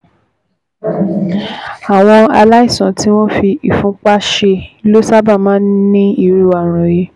Àwọn aláìsàn tí wọ́n fi ìfúnpá ṣe ló sábà máa ń ní irú ààrùn yìí